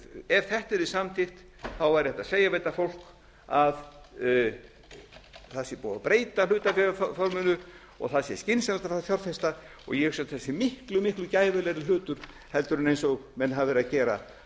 ef þetta yrði samþykkt væri hægt að segja við þetta fólk að það sé búið að breyta hlutabréfaforminu og það sé skynsamlegt að fara að fjárfesta ég hugsa að þetta sé miklu miklu gæfulegra hlutur heldur en eins og menn hafa verið